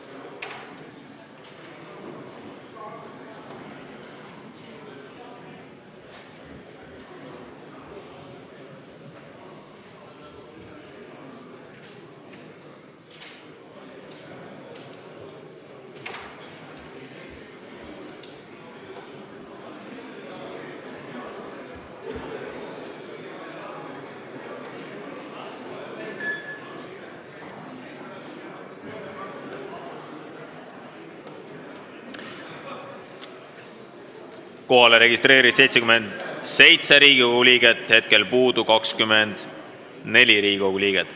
Kohaloleku kontroll Kohalolijaks registreerus 77 Riigikogu liiget, hetkel puudub 24 Riigikogu liiget.